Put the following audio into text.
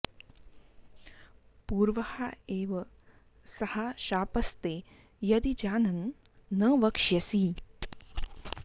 पूर्वः एव सः शापस्ते यदि जानन् न वक्ष्यसि